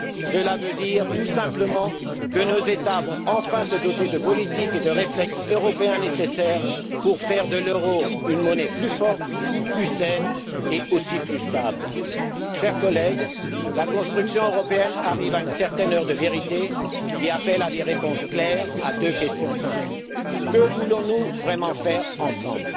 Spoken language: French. Cela veut dire tout simplement que nos États vont enfin se doter de politiques et de réflexes européens nécessaires pour faire de l'euro une monnaie plus forte, plus saine, et aussi plus stable. Chers collègues, la construction européenne arrive à une certaine heure de vérité qui appelle des réponses claires à deux questions simples. Que voulons nous vraiment faire ensemble?